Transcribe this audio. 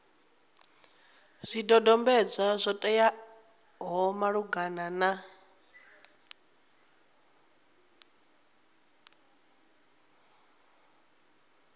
zwidodombedzwa zwo teaho malugana na